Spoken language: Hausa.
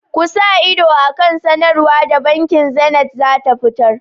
Ku sa ido a kan sanarwar da bankin Zenith zata fitar.